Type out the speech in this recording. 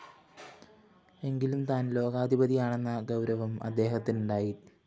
എങ്കിലും താന്‍ ലോകാധിപതിയാണെന്ന ഗൗരവം അദ്ദേഹത്തിനുണ്ടായി